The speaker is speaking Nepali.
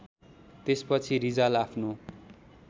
त्यसपछि रिजाल आफ्नो